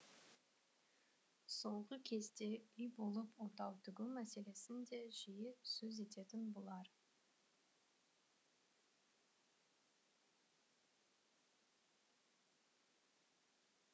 соңғы кезде үй болып отау тігу мәселесін де жиі сөз ететін бұлар